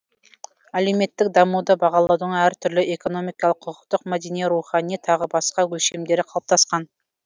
әлеуметтік дамуды бағалаудың әртүрлі экономикалық құқықтық мәдени рухани тағы басқа өлшемдері калыптаскан